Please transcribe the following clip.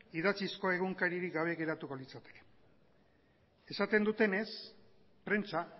idatzizko egunkaririk gabe geratuko litzateke esaten dutenez prentsa